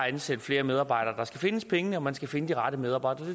ansætte flere medarbejdere man skal finde pengene og man skal finde de rette medarbejdere